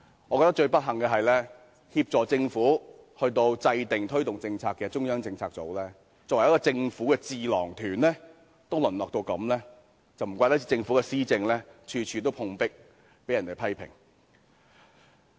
我覺得最不幸的是，協助政府制訂和推動政策的中策組，作為政府的智囊團，竟淪落到如斯地步，難怪政府的施政處處碰壁，被人批評。